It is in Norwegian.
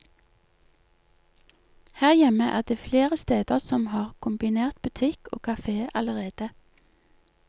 Her hjemme er det flere steder som har kombinert butikk og kafé allerede.